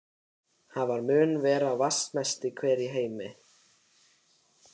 Hann mun vera vatnsmesti hver í heimi.